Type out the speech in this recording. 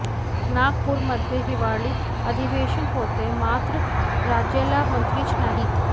नागपूरमध्ये हिवाळी अधिवेशन होतय मात्र राज्याला मंत्रीच नाहीत